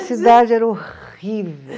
Cidade era horrível.